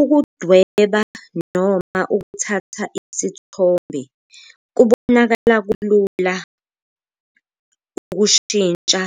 Ukudweba noma ukuthatha isithombe kubonakala kulula ukushintsha